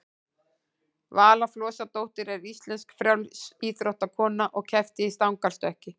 vala flosadóttir er íslensk frjálsíþróttakona og keppti í stangarstökki